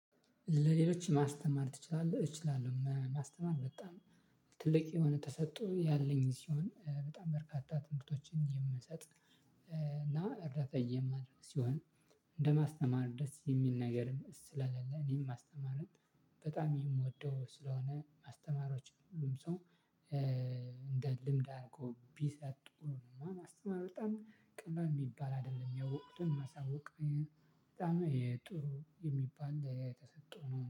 ለሌሎች ማስተማር ትችላለህ እችላለሁ ማስተማር በጣም ትልቅ የሆነ ተሰጥቶ ያለኝ ሲሆን በጣም በርካታ ትምህርቶችን የምሰጥ እና እርዳታ የማደርግ ሲሆን። እንደማስተማር ደስ የሚል ነገር ስለሌለ እኔም ማስተማርን በጣም የምወደው ስለሆነ ማስተማሮች ሁሉም ሰው። እንደ ልምድ አርጎ ቢሰጡ ነው እና ማስተማር በጣም ቀላል ሚባል አደለም ያወቁትን ማሳወቅ። በጣም የጥሩ የሚባል ተሰጦ ነው